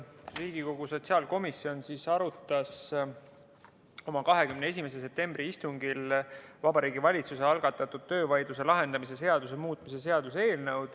Riigikogu sotsiaalkomisjon arutas oma 21. septembri istungil Vabariigi Valitsuse algatatud töövaidluse lahendamise seaduse muutmise seaduse eelnõu.